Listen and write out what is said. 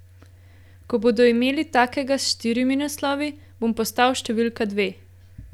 Ko bodo imeli takega s štirimi naslovi, bom postal številka dve.